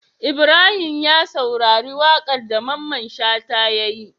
Ibrahim ya saurari waƙar da mamman shata yayi